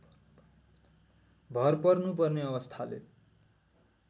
भर पर्नुपर्ने अवस्थाले